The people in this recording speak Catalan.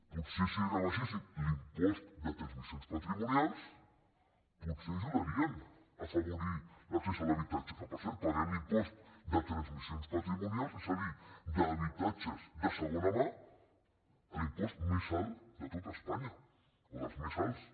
potser si rebaixessin l’impost de transmissions patrimonials potser ajudarien a afavorir l’accés a l’habitatge que per cert paguem l’impost de transmissions patrimonials és a dir d’habitatges de segona mà més alt de tot espanya o dels més alts